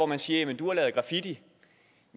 man siger du har lavet graffiti